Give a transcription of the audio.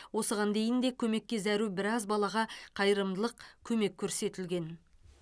осыған дейін де көмекке зәру біраз балаға қайырымдылық көмек көрсетілген